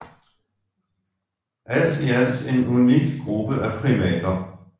Alt i alt en unik gruppe af primater